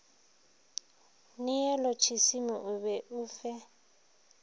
neolotšisimi o be o fe